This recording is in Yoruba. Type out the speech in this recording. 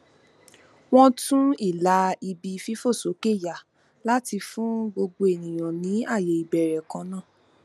wọn tún ìlà ibi fífòsókè yà láti fún gbogbo ènìyàn ní ààyè ìbẹrẹ kan náà